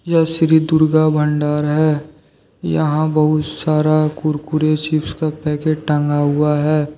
यह श्री दुर्गा भंडार है यहां बहुत सारा कुरकुरे चिप्स का पैकेट टंगा हुआ है।